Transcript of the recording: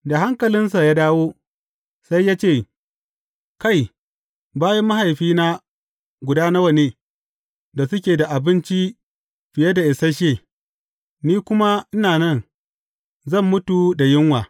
Da hankalinsa ya dawo, sai ya ce, Kai, bayin mahaifina guda nawa ne, da suke da abinci fiye da isashe, ni kuma ina nan, zan mutu don yunwa!